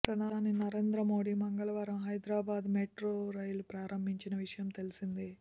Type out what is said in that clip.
ప్రధాని నరేంద్ర మోడీ మంగళవారం Hyderabad metro rail ప్రారంభించిన విషయం తెలిసిందే